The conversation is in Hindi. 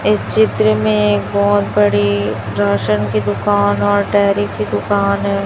इस चित्र में बहोत बड़ी राशन की दुकान और डेयरी की दुकान है।